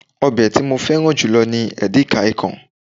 obe ti mo feran julo ni edikaikaong